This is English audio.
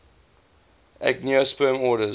angiosperm orders